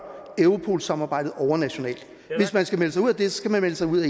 europolsamarbejdet overnationalt hvis man skal melde sig ud af det skal man melde sig ud